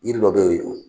Yiri dɔ bɛ yen